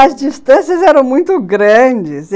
As distâncias eram muito grandes.